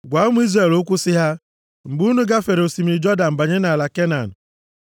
“Gwa ụmụ Izrel okwu sị ha, ‘Mgbe unu gafere osimiri Jọdan banye nʼala Kenan,